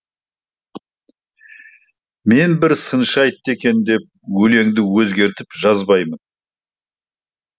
мен бір сыншы айтты екен деп өлеңді өзгертіп жазбаймын